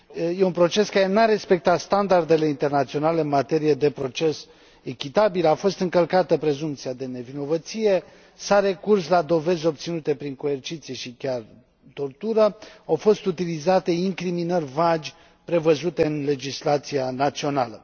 E un proces care nu a respectat standardele internaționale în materie de proces echitabil, a fost încălcată prezumția de nevinovăție, s a recurs la dovezi obținute prin coerciție și chiar tortură, au fost utilizate incriminări vagi prevăzute în legislația națională.